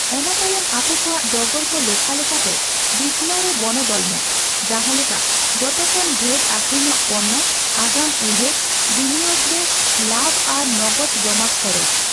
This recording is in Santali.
ᱚᱱᱟ ᱛᱟᱭᱚᱢ, ᱟᱯᱮᱠᱚᱣᱟᱜ ᱰᱚᱜᱚᱨ ᱠᱚ ᱞᱮᱠᱷᱟ ᱞᱮᱠᱟᱛᱮ ᱵᱤᱪᱷᱱᱟᱹᱣ ᱨᱮ ᱵᱚᱱᱚᱫᱚᱞ ᱢᱮ, ᱡᱟᱦᱟᱸ ᱞᱮᱠᱟ ᱡᱚᱛᱚᱠᱷᱚᱱ ᱰᱷᱮᱨ ᱟᱹᱠᱷᱨᱤᱧᱚᱜ ᱯᱚᱹᱱᱱᱚ, ᱟᱜᱟᱢ ᱩᱭᱦᱟᱹᱨ, ᱵᱤᱱᱤᱭᱳᱜᱽ ᱨᱮ ᱞᱟᱵᱷ ᱟᱨ ᱱᱚᱜᱚᱫᱽ ᱡᱚᱢᱟ ᱠᱷᱚᱨᱚᱪ ᱾